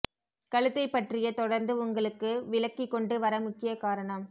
கழுத்தை பற்றிய தொடர்ந்து உங்களுக்கு விளக்கி கொண்டு வர முக்கிய காரணம்